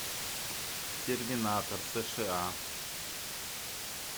терминатор сша